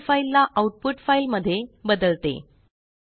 cropped file ला output file मध्ये बदलते